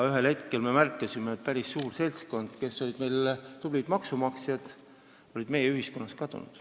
Ühel hetkel me märkasime, et päris suur seltskond, kes olid tublid maksumaksjad, olid meie ühiskonnast kadunud.